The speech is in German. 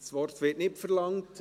Das Wort wird nicht verlangt.